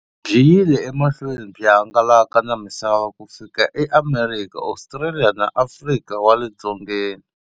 Byi yile emahlweni byi hangalaka na misava ku fika e Amerika, Ostraliya na Afrika wale dzongeni.